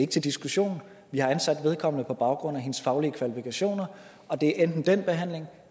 til diskussion vi har ansat vedkommende på baggrund af hendes faglige kvalifikationer og det er enten den behandling